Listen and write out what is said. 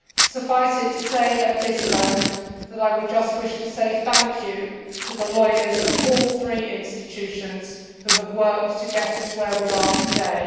Suffice it to say at this moment that I would just wish to say thank you to the lawyers of all three institutions who have worked to get us where we are today.